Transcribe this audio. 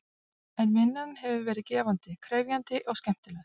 En vinnan hefur verið gefandi, krefjandi og skemmtileg.